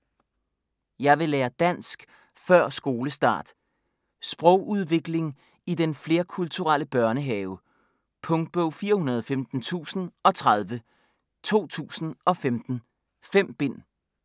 Jeg vil lære dansk før skolestart! Sprogudvikling i den flerkulturelle børnehave. Punktbog 415030 2015. 5 bind.